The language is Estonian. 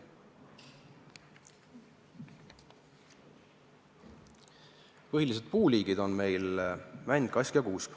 Põhilised puuliigid on meil mänd, kask ja kuusk.